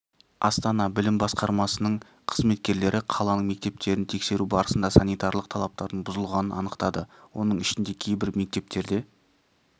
астана білім басқармасының қызметкерлері қаланың мектептерін тексеру барысында санитарлық талаптардың бұзылғанын анықтады оның ішінде кейбір мектептерде